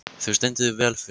Þú stendur þig vel, Fura!